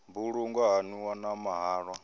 mbulungo ha nwiwa na mahalwa